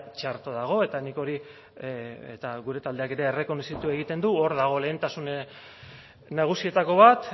txarto dago eta nik hori eta gure taldeak ere errekonozitu egiten du hor dago lehentasuna nagusietako bat